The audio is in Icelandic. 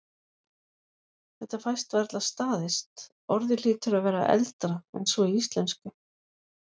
Þetta fæst varla staðist, orðið hlýtur að vera eldra en svo í íslensku.